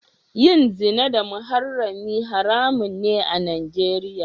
Yin zina da muharrami haramun ne a Nijeriya.